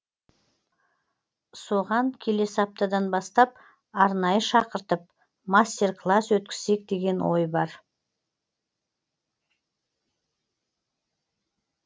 соған келесі аптадан бастап арнайы шақыртып мастер класс өткізсек деген ой бар